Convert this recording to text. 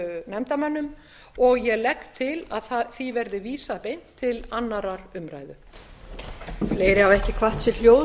nefndarmönnum og ég legg til að því verði vísað beint til annarrar umræðu